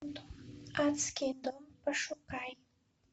адский дом пошукай